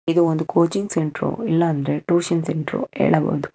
ಇದು ಒಂದು coaching centre ಇಲ್ಲ ಅಂದ್ರೆ ಟ್ಯೂಷನ್ ಸೆಂಟ್ರು ಹೇಳಬಹುದು.